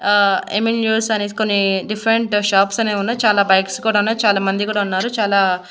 ఆహ్ ఎమ్ఎన్న్యూస్ అని కొన్ని డిఫరెంట్ షాప్స్ అనేవి ఉన్నాయి చాలా బైక్స్ కూడా ఉన్నాయి చాలా మంది కూడా ఉన్నారు చాలా--